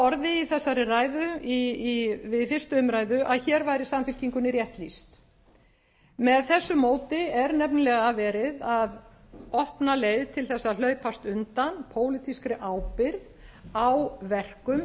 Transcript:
orði í þessari ræðu við fyrstu umræðu að hér væri samfylkingunni rétt lýst með þessu móti er nefnilega verið að opna leið til þess að hlaupast undan pólitískri ábyrgð á verkum